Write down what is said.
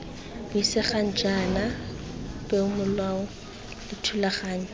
buisegang jaana peomolao le dithulaganyo